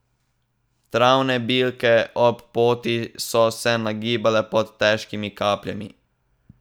Travne bilke ob poti so se nagibale pod težkimi kapljami.